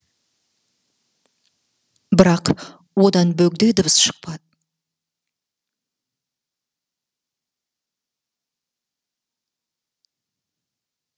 бірақ одан бөгде дыбыс шықпады